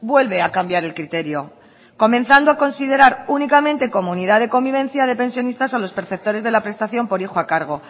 vuelve a cambiar el criterio comenzando a considerar únicamente como unidad de convivencia de pensionistas a los perceptores de la prestación por hijo a cargo